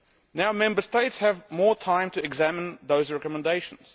Now Member States have more time to examine those recommendations.